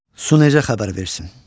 Su necə xəbər versin?